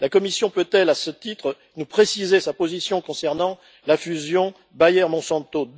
La Commission peut elle, à ce titre, nous préciser sa position concernant la fusion Bayer Monsanto?